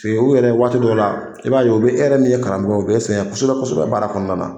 U yɛrɛ waati dɔ la i b'a ye u bɛ e yɛrɛ min ye karamɔgɔ ye u bɛ e sɛgɛn kosɛbɛ kosɛbɛ kosɛbɛ baara kɔnɔna na